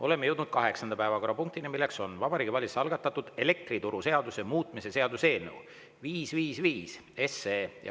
Oleme jõudnud kaheksanda päevakorrapunktini: Vabariigi Valitsuse algatatud elektrituruseaduse muutmise seaduse eelnõu 555.